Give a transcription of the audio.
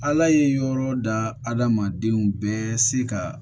Ala ye yɔrɔ da adamadenw bɛɛ se ka